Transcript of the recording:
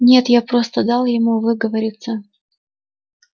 нет я просто дал ему выговориться